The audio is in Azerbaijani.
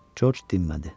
Corc dinmədi.